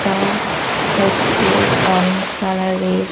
এটা হচ্ছে orange colour -এর।